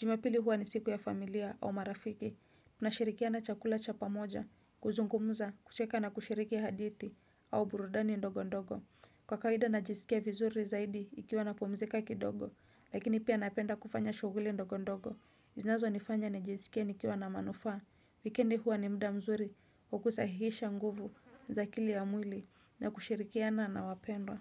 Jumapili huwa ni siku ya familia au marafiki. Tunashirikiana chakula cha pamoja, kuzungumuza, kucheka na kushiriki hadithi au burudani ndogo ndogo. Kwa kawaida najisikia vizuri zaidi ikiwa napumzika kidogo, lakini pia napenda kufanya shughuli ndogo ndogo. Zinazo nifanya nijisikie nikiwa na manufaa wikendi huwa ni muda mzuri, wa kusahihisha nguvu za akili ya mwili na kushirikiana na wapendwa.